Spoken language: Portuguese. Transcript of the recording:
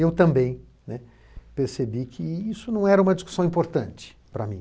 E eu também, né, percebi que isso não era uma discussão importante para mim.